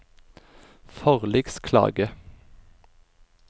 forliksklage